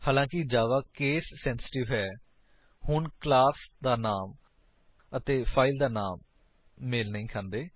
ਹਾਲਾਂਕਿ ਜਾਵਾ case sensitive ਹੈ ਹੁਣ ਕਲਾਮ ਦਾ ਨਾਮ ਅਤੇ ਫਾਇਲ ਦਾ ਨਾਮ ਮੇਲ ਨਹੀਂ ਖਾਂਦੇ